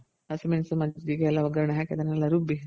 ಹಸಿ ಮೆಣಸು ಮಜ್ಜಿಗೆ ಎಲ್ಲ ಒಗ್ಗರೆಣೆ ಅದನ್ನೆಲ್ಲಾ ರುಬ್ಬಿ